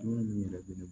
Dumuni min yɛrɛ bɛ ne